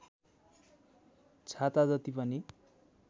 छाता जति पनि